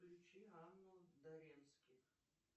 включи анну доренских